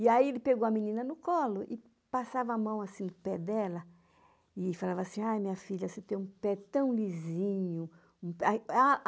E aí ele pegou a menina no colo e passava a mão assim no pé dela e falava assim, ai minha filha, você tem um pé tão lisinho. Ai ah